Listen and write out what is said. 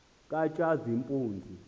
katshazimpunzi